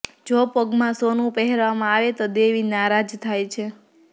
જો પગમાં સોનું પહેરવામાં આવે તો દેવી નારાજ થાય છે